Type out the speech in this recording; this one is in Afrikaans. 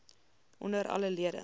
onder alle lede